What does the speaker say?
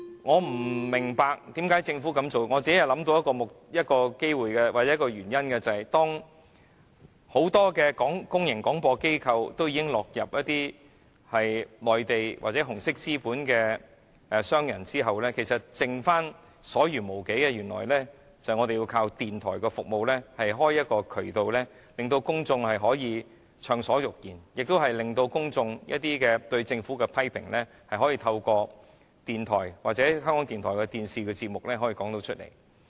我不明白政府為甚麼要這樣做，我只是想到一個原因，便是在很多公共廣播機構已經落入內地或紅色資本商人手中後，其實餘下來我們便須依靠電台的服務，才能打開渠道，讓公眾暢所欲言，亦讓公眾對政府的批評可以透過電台或港台的電視節目表達出來。